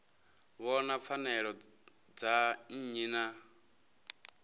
vhona pfanelo dza nnyi na